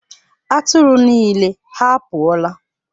Atụrụ niile ha pụọla?